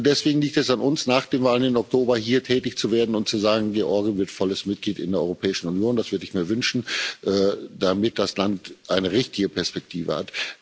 Deswegen liegt es an uns, nach den Wahlen im Oktober hier tätig zu werden und zu sagen Georgien wird volles Mitglied in der Europäischen Union. Das würde ich mir wünschen, damit das Land eine richtige Perspektive